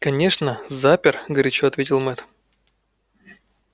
конечно запер горячо ответил мэтт